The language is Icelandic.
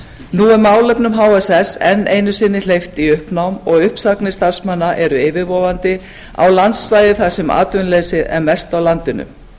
nú er málefnum hss enn einu sinni hleypt í uppnám og uppsagnir starfsmanna eru yfirvofandi á landsvæði þar sem atvinnuleysi er mest á landinu